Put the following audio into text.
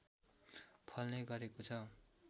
फल्ने गरेको छ